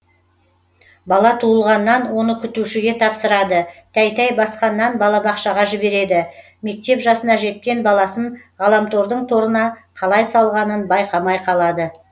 бала туылғаннан оны күтушіге тапсырады тәй тәй басқаннан балабақшаға жібереді мектеп жасына жеткен баласын ғаламтордың торына қалай салғанын байқамай қалады